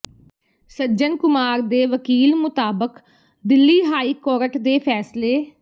ਸੱਜਣ ਕੁਮਾਰ ਦੇ ਵਕੀਲ ਮੁਤਾਬਕ ਦਿੱਲੀ ਹਾਈ ਕੋਰਟ ਦੇ ਫੈਸਲੇ